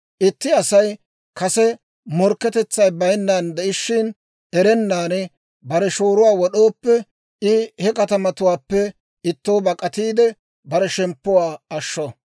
«Itti Asay kase morkketetsay bayinnan de'ishshin, erennan bare shooruwaa wod'ooppe, I he katamatuwaappe ittoo bak'atiide, bare shemppuwaa ashsho.